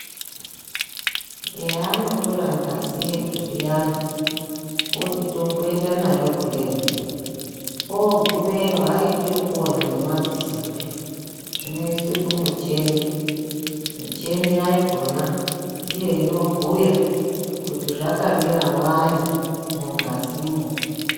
Eya, haanotora ngazi yeduu zviyani oti tomboenda nayo kumhatso yekuhloya ogumeyo aiti zvekuona ngemadzisopi zvinoiswe mumicheni, micheni yakona ndiyo inobhuya kuti zvakamira wani mungazimwo.